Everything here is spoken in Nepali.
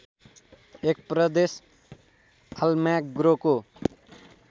एक प्रदेश आल्माग्रोको